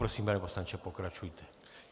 Prosím, pane poslanče, pokračujte.